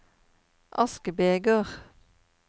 askebeger